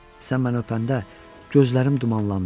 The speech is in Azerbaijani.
Sən məni öpəndə gözlərim dumanlandı.